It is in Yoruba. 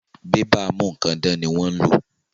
Bébà a mú nǹkan dán ni wọ́n ń lò